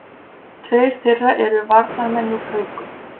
Tveir þeirra eru varnarmenn úr Haukum